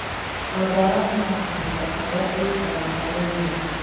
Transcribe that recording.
o ndawa ĩna kahinda karĩa ĩikaraga harĩ mũmera